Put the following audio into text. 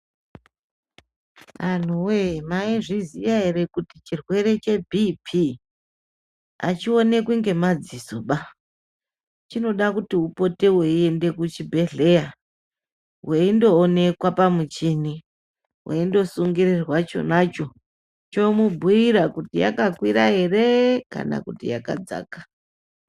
Anhu woye maizviziya ere kuti chirwere chebhipi achionekwi ngemadzisoba. Chinoda kuti upote weiende kuchibhehleya, weindoonekwa pamuchini, weindosungirirwa chonacho chomubhuyira kuti yakakwira ere kana kuti yakadzaka.